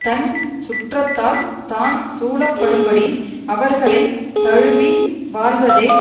தன் சுற்றத்தால் தான் சூழப்படும் படி அவர்களை தழுவி வாழ்வதே